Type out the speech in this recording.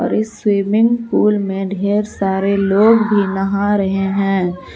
और इस swimming pool में ढेर सारे लोग भी नहा रहे हैं।